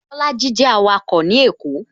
Bolaji jẹ awako ní èkó